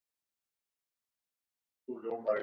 Ef þetta er ekki kúgun þá veit ég ekki hvað það orð merkir.